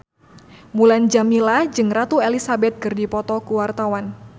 Mulan Jameela jeung Ratu Elizabeth keur dipoto ku wartawan